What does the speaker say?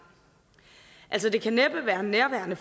altså det kan næppe være nærværende